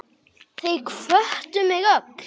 Þau hvöttu mig öll.